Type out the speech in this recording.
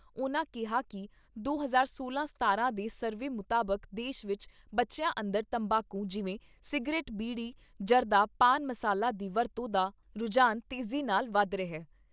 ਉਨ੍ਹਾਂ ਕਿਹਾ ਕਿ ਦੋ ਹਜ਼ਾਰ ਸੋਲਾਂ ਸਤਾਰਾਂ ਦੇ ਸਰਵੇ ਮੁਤਾਬਕ ਦੇਸ਼ ਵਿੱਚ ਬੱਚਿਆਂ ਅੰਦਰ ਤੰਬਾਕੂ ਜਿਵੇਂ ਸਿਗਰਟ, ਬੀੜੀ, ਜ਼ਰਦਾ, ਪਾਨ ਮਸਾਲਾ ਦੀ ਵਰਤੋਂ ਦਾ ਰੁਝਾਨ ਤੇਜ਼ੀ ਨਾਲ ਵੱਧ ਰਿਹਾ।